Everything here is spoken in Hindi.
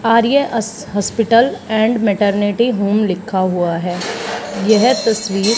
आर्य अस हॉस्पिटल एंड मेटरनिटी होम लिखा हुआ है यह तस्वीर--